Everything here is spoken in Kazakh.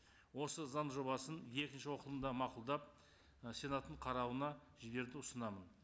осы заң жобасын екінші оқылымда мақұлдап ы сенаттың қарауына жіберуді ұсынамын